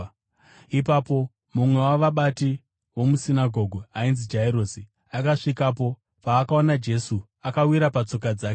Ipapo mumwe wavabati vomusinagoge, ainzi Jairosi, akasvikapo. Paakaona Jesu akawira patsoka dzake